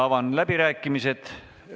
Avan läbirääkimised.